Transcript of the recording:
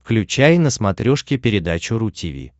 включай на смотрешке передачу ру ти ви